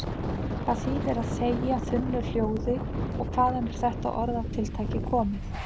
Hvað þýðir að þegja þunnu hljóði og hvaðan er þetta orðatiltæki komið?